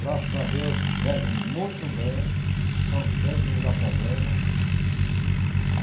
Graças a Deus, veve muito bem, são crentes, não me dá problema.